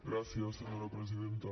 gràcies senyora presidenta